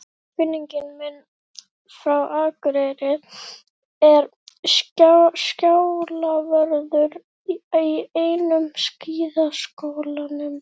Kunningi minn frá Akureyri er skálavörður í einum skíðaskálanum.